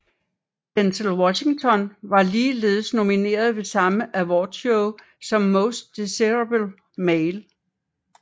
Denzel Washington var ligeledes nomineret ved samme awardshow som Most Desirable Male